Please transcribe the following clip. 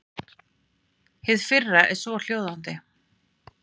Hið fyrra er svohljóðandi.